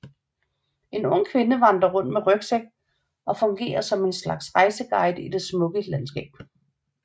En ung kvinde vandrer rundt med rygsæk og fungerer som en slags rejseguide i det smukke landskab